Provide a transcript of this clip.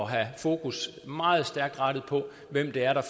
have fokus meget stærkt rettet på hvem det er der